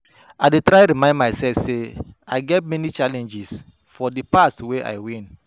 i dey try remind myself say i don get many challenges for di past wey i win.